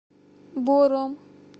бором